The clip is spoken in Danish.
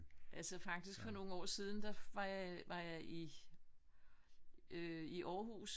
Altså faktisk for nogle år siden da var var jeg i var jeg i Aarhus hvor jeg tog bil over med med Molsfærgerne